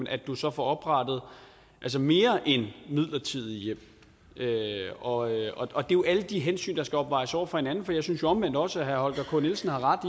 at du så får oprettet mere end midlertidige hjem og og det er jo alle de hensyn der skal opvejes over for hinanden for jeg synes jo omvendt også at herre holger k nielsen har ret